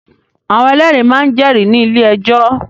Àwọn ẹlẹ́rìí máa ń jẹ́rìí ní ilé-ẹjọ́.